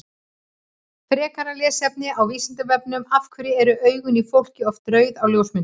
Frekara lesefni á Vísindavefnum Af hverju eru augun í fólki oft rauð á ljósmyndum?